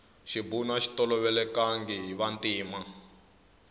xibunu axi tolovelekangi hi vantima